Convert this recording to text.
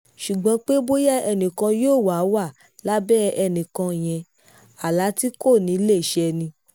ṣùgbọ́n pé bóyá ẹnì kan yóò wáá wà lábẹ́ ẹnì kan yẹn àlá tí kò ní í lè ṣẹ ni